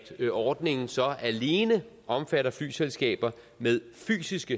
at ordningen så alene omfatter flyselskaber med fysisk